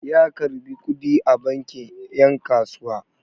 Ya karɓi kuɗi a banki 'yan kasuwa.